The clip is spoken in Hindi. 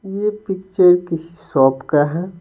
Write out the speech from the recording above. ये पिक्चर किसी शॉप का है।